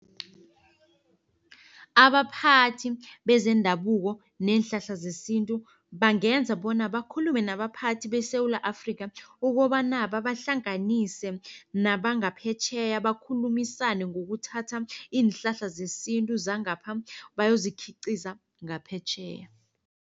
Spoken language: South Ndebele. Abaphathi bezendabuko neenhlahla zesintu bangenza bona bakhulume nabaphathi beSewula Afrikha ukobana, babahlanganise nabangaphetjheya bakhulumisane ngokuthatha iinhlahla zesintu zangapha bayozikhiqiza ngaphetjheya.